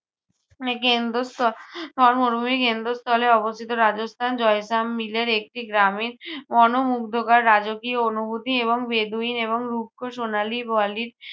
উম কেন্দ্রস্থ~ আহ থর মরুভূমির কেন্দ্রস্থলে অবস্থিত রাজস্থান, জয়সাম্মিলের একটি গ্রামে মনোমুগ্ধকর রাজকীয় অনুভূতি এবং বেদুইন এবং রুক্ষ সোনালী বলি~